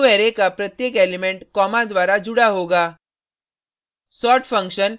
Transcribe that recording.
यहाँ newarray का प्रत्येक एलिमेंट कॉमा द्वारा जुड़ा होगा